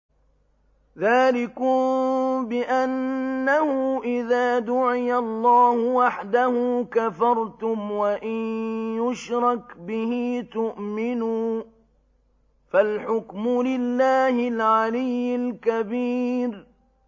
ذَٰلِكُم بِأَنَّهُ إِذَا دُعِيَ اللَّهُ وَحْدَهُ كَفَرْتُمْ ۖ وَإِن يُشْرَكْ بِهِ تُؤْمِنُوا ۚ فَالْحُكْمُ لِلَّهِ الْعَلِيِّ الْكَبِيرِ